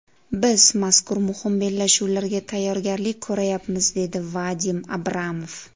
Biz mazkur muhim bellashuvlarga tayyorgarlik ko‘ryapmiz”, dedi Vadim Abramov.